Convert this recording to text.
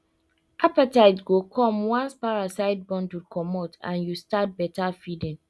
appetite go come once parasite burden comot and you start better feeding